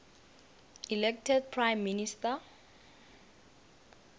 elected prime minister